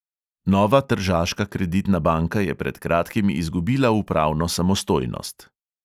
Nova tržaška kreditna banka je pred kratkim izgubila upravno samostojnost.